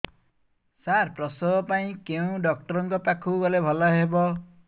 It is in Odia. ସାର ପ୍ରସବ ପାଇଁ କେଉଁ ଡକ୍ଟର ଙ୍କ ପାଖକୁ ଗଲେ ଭଲ ହେବ